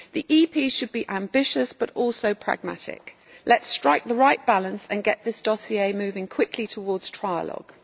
The EP should be ambitious, but also pragmatic. Let us strike the right balance and get this dossier moving quickly towards trialogue.